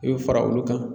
I bɛ fara olu kan